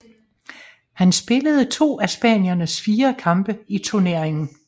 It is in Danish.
Han spillede to af spaniernes fire kampe i turneringen